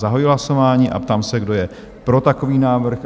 Zahajuji hlasování a ptám se, kdo je pro takový návrh?